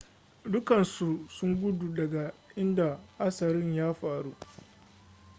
dukansu sun gudu daga inda hatsarin ya faru